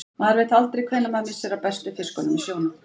Maður veit aldrei hvenær maður missir af bestu fiskunum í sjónum.